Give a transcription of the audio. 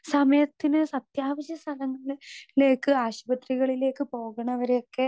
speaker 2 സമയത്തിന് അത്യാവശ്യ സ്ഥലങ്ങളിലേക്ക് ആശുപത്രികളിലേക്ക് പോകണവരെയൊക്കെ